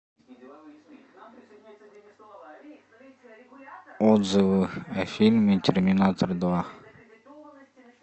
отзывы о фильме терминатор два